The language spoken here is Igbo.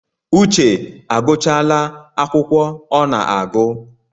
Uche agụchala akwụkwọ ọ na-agụ